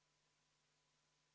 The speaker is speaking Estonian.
Palun võtta seisukoht ja hääletada!